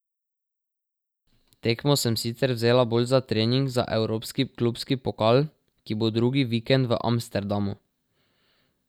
Tekmo sem sicer vzela bolj za trening za evropski klubski pokal, ki bo drugi vikend v Amsterdamu.